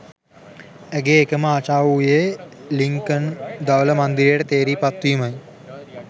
ඇගේ එකම ආශාව වූයේ ලින්කන් ධවල මන්දිරයට තේරී පත්වීමයි.